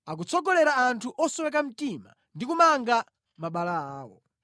Akutsogolera anthu osweka mtima ndi kumanga mabala awo.